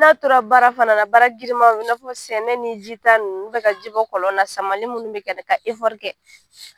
Dɔw tora baara fana na, baara girinmaw, i n'a fɔ sɛnɛ ni ji ta ninnu ka ji bɔ kɔlɔn na samani minnu bɛ kɛ ka kɛ.